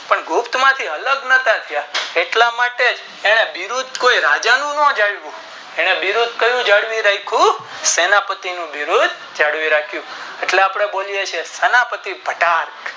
ગુપ્ત માંથી અલગ ના કરતા એટલા માટે એને યુદ્ધ કોઈ રાજા નું નો જમું એને યુદ્ધ કયું જાળવી રાખું સેના પતિ નું જાળવી રાખું એટલા આપણે બોલીયે છીએ સેનાપતિ ઘટાક્ષ